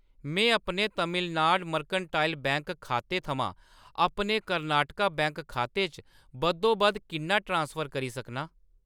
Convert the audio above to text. में अपने Tamilnad mercantile bank खाते थमां अपने कर्नाटका बैंक खाते च बद्धोबद्ध किन्ना ट्रांसफर करी सकनां ?